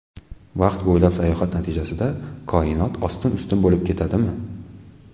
Vaqt bo‘ylab sayohat natijasida koinot ostin-ustun bo‘lib ketadimi?